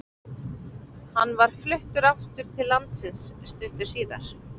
Hann var fluttur aftur til landsins stuttu síðar.